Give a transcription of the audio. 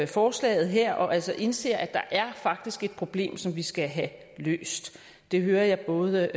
forslaget her og som altså indser at der faktisk er et problem som vi skal have løst det hører jeg både